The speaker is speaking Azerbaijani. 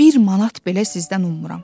Bir manat belə sizdən ummuram.